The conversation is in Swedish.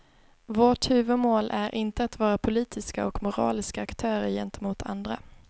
Vårt huvudmål är inte att vara politiska och moraliska aktörer gentemot andra.